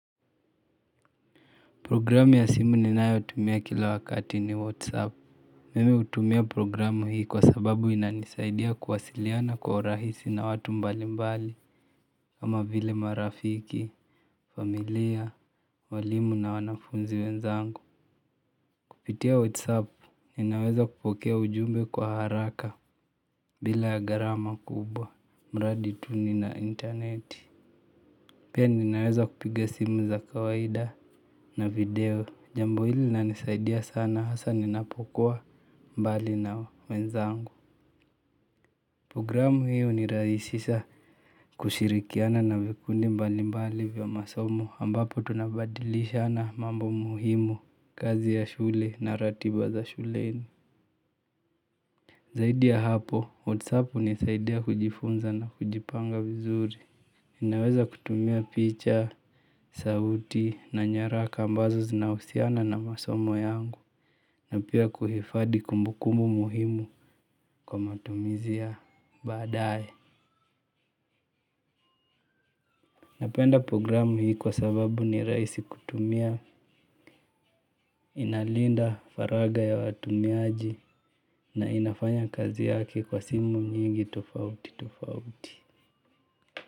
Programu ya simu ninayotumia kila wakati ni Wasapu. Mimi hutumia programu hii kwa sababu inanisaidia kuwasiliana kwa urahisi na watu mbali mbali kama vile marafiki, familia, walimu na wanafunzi wenzangu. Kupitia wasapu ninaweza kupokea ujumbe kwa haraka bila ya gharama kubwa, mradi tu nina intaneti. Pia ninaweza kupiga simu za kawaida na video. Jambo hili linanisaidia sana hasa ninapokuwa mbali na wenzangu. Programu hiyo inarahisisha kushirikiana na vikundi mbali mbali vya masomo ambapo tunabadilishana mambo muhimu kazi ya shule na ratiba za shuleni. Zaidi ya hapo, wasapu hunisaidia kujifunza na kujipanga vizuri. Ninaweza kutumia picha, sauti na nyaraka ambazo zinahusiana na masomo yangu na pia kuhifadhi kumbukumbu muhimu kwa matumizi ya baadaye. Napenda programu hii kwa sababu ni rahisi kutumia. Inalinda faragha ya watumiaji na inafanya kazi yake kwa simu nyingi tofauti tofauti.